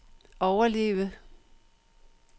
overleve